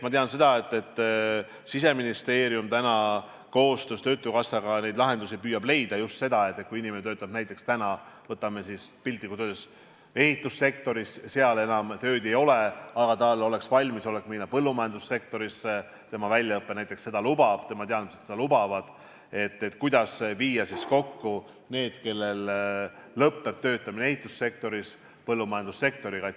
Ma tean seda, et Siseministeerium täna koostöös töötukassaga neid lahendusi püüab leida, just seda, et kui inimene töötab näiteks ehitussektoris ja seal enam tööd ei ole, aga tal on valmisolek minna põllumajandussektorisse, tema väljaõpe seda lubab, tema teadmised seda lubavad, siis kuidas viia kokku need, kellel lõpeb töötamine ehitussektoris, põllumajandussektoriga.